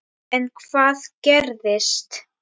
En hvað gerist.